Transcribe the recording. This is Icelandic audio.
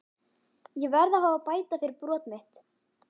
Ég verð að fá að bæta fyrir brot mitt.